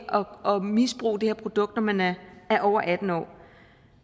misbruge det her produkt når man er over atten år